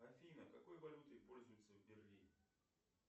афина какой валютой пользуются в берлине